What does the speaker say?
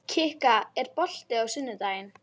Kikka, er bolti á sunnudaginn?